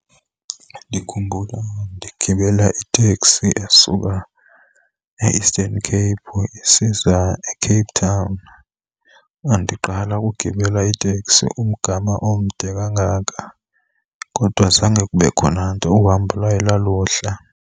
Ndikhumbula ndigibela iteksi asuka e-Eastern Cape isiza eCape Town. Ndandiqala ukugibela iteksi umgama omde kangaka, kodwa zange kube khona nto, uhambo lwaye lwaluhle.